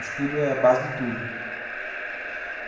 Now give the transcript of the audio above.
O estudo é a base de tudo.